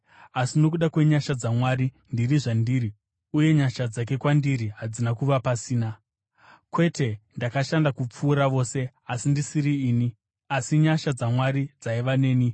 Asi nokuda kwenyasha dzaMwari ndiri zvandiri uye nyasha dzake kwandiri hadzina kuva pasina. Kwete, ndakashanda kupfuura vose, asi ndisiri ini, asi nyasha dzaMwari dzaiva neni.